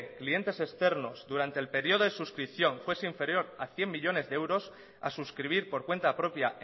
clientes externos durante el periodo de suscripción fuese inferior a cien millónes de euros a suscribir por cuenta propia